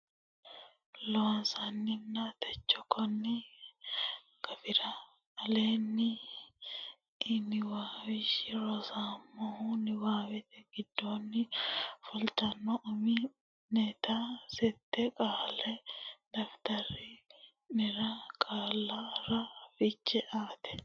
Loossinanni techo konni gafira aleenni ini lawishshi ronseemmohu niwaawete giddonni fultino umi neta sette qaalla daftari nera qaallara fiche aate.